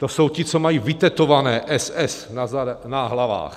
To jsou ti, co mají vytetované SS na hlavách.